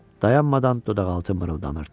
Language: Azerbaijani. Dayanmadan dodaqaltı mırıldanırdı.